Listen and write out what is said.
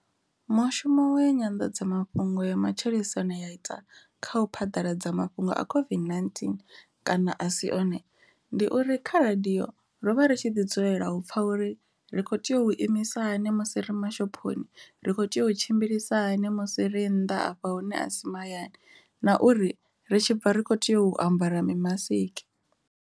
Mushumo wa ya nyanḓadzamafhungo ya matshilisano ya ita kha u phaḓaladza mafhungo a COVID-19 kana a si one, ndi uri kha radio ro vha ri tshi ḓi dzulela u pfha uri ri ri kho tea u imisa hani musi ri mashophoni, ri kho tea u tshimbilisa hani musi ri nnḓa hafha hune a si mahayani na uri ri tshibva ri kho tea u ambara mimasiki.